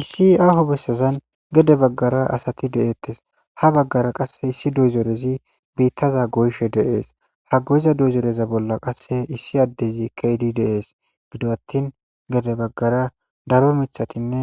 issi aaho bessezan gede baggara asati de7eettes ha baggara qasse issi dozorezi biittaza goyshe deees ha goyiza dozoreza bolla qasse issi addezi keydi deees gido attin gede baggara daro mithatinne